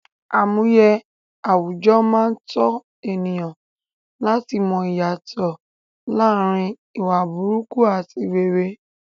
Àmúye àwùjọ máa n tọ̀ ènìyàn láti mọ ìyàtọ̀ láàrin ìwà burúkú ati rere